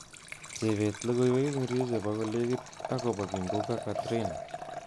Chebet logoiwek ingircho chebo kolekit akobo Kimbunga Katrina